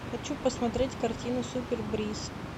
хочу посмотреть картину супер бриз